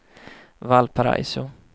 Valparaiso